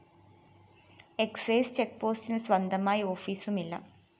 excise ചെക്ക്‌പോസ്റ്റിനു സ്വന്തമായി ഓഫീസുമില്ല